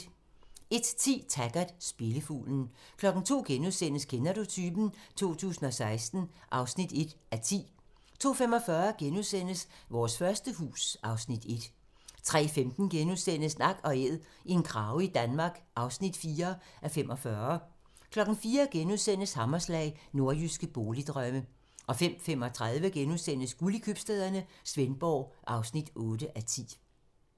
01:10: Taggart: Spillefuglen 02:00: Kender du typen? 2016 (1:10)* 02:45: Vores første hus (Afs. 1)* 03:15: Nak & æd - en krage i Danmark (4:45)* 04:00: Hammerslag - Nordjyske boligdrømme * 05:35: Guld i købstæderne - Svendborg (8:10)*